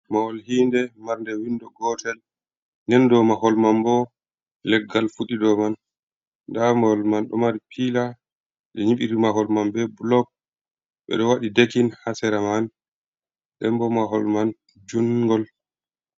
Mahol hii nde mar nde windo gotel. Nden do mahol man bo leggal fuɗi do man. Nda mahol man ɗo mari pila. Ɓe nyiɓiri mahol man be bulok, ɓe ɗo waɗi dekin hasera man. Dembo mahol man jungol.